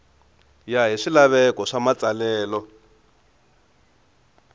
ya hi swilaveko swa matsalelo